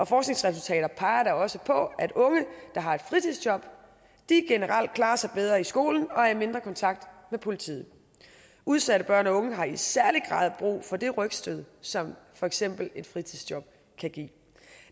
forskningsresultater peger da også på at unge der har et fritidsjob generelt klarer sig bedre i skolen og er i mindre kontakt med politiet udsatte børn og unge har i særlig grad brug for det rygstød som for eksempel et fritidsjob kan give